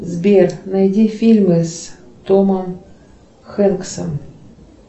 сбер найди фильмы с томом хэнксом